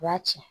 U b'a ci